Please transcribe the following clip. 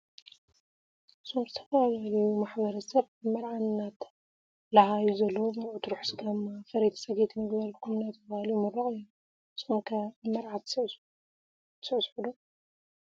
እዞም ዝተፈላለዮ ማሕበረሰብ አብ መርዓ እናተላሃዮ ዘለው መርዑት ርሑስ ጋማ ፈረይቲ ፀገይትን ይግበረልኩም እናተባሃሉ ይምረቁ እዮም ። ንስኩም ከ አብ መርዓ ትሰዕሰዕ ?